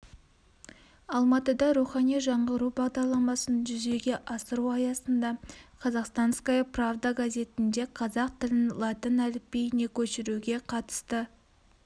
алматыда рухани жаңғыру бағдарламасын жүзеге асыру аясында казахстанская правда газетінде қазақ тілін латын әліпбиіне көшіруге қатысты